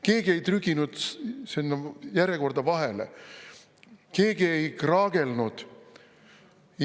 Keegi ei trüginud järjekorda vahele, keegi ei kraagelnud.